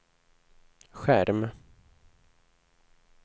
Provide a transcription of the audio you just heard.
skärm